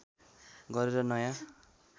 गरेर नयाँ